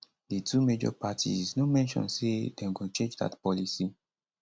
di two major parties no mention say dem go change dat policy